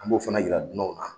An b'o fana jira dunanw na.